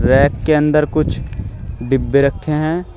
Rack के अंदर कुछ डिब्बे रखे हैं।